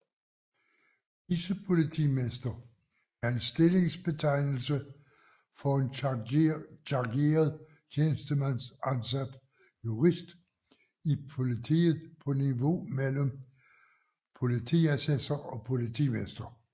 Vicepolitimester er en stillingsbetegnelse for en chargeret tjenestemandsansat jurist i politiet på niveau mellem politiassessor og politimester